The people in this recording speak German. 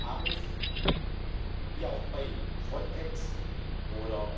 Europas und Mittelzuführungen der Mitgliedstaaten zwischen einer und zwei